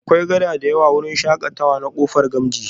Akwai kada da yawa a wurin shakatawa na kofa gamji